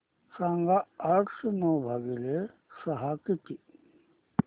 सांगा आठशे नऊ भागीले सहा किती